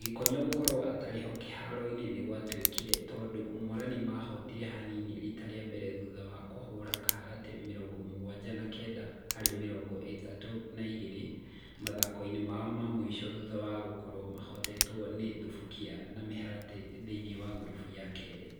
Gikonyo gũkorwo atarĩho kĩharoinĩ nĩkwaigũĩkire tondũ Morani mahotire hanini rita rĩa mbere thutha wakũhũra Kaharatĩ mĩrongo mũgwanja na kenda harĩ mĩrongo ĩtandatũ na igĩrĩ mũthakoinĩ wao wa mũico thutha wa gũkorwo mahotetwo nĩ Thubukia na Mĩharatĩ thĩini wa ngurubu ya kerĩ.